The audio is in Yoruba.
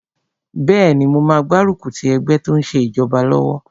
Bẹ́ẹ̀ni, mo máa gbárùkù ti ẹgbẹ́ tó n ṣe ìjọba lọ́wọ́